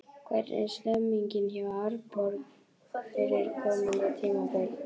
Hvernig er stemningin hjá Árborg fyrir komandi tímabil?